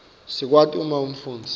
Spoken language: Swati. sikwati uma umfundzi